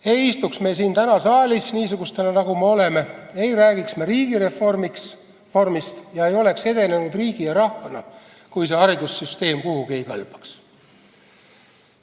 Ei istuks me täna siin saalis niisugustena, nagu me oleme, ei räägiks me riigireformist ega oleks edenenud riigi ja rahvana, kui see haridussüsteem kuhugi ei kõlbaks.